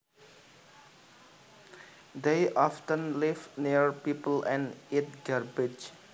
They often live near people and eat garbage